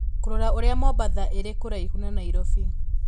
Kũrora ũrĩa Mombatha ĩrĩ kũraihu na Nairobi